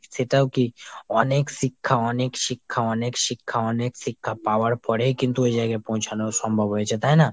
সেটাও কী অনেক শিক্ষা অনেক শিক্ষা অনেক শিক্ষা অনেক শিক্ষা পাওয়ার পরেই কিন্তু ওই জায়গায় পৌঁছানো সম্ভব হয়েছে তাই না ?